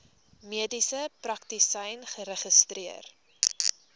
mediese praktisyn geregistreer